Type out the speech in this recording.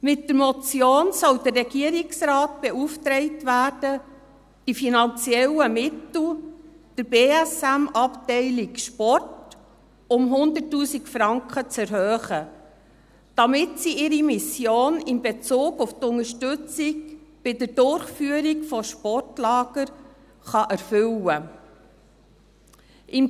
Mit der Motion soll der Regierungsrat beauftragt werden, die finanziellen Mittel der BSM-Abteilung Sport um 100 000 Franken zu erhöhen, damit sie ihre Mission in Bezug auf Unterstützung bei der Durchführung von Sportlagern erfüllen kann.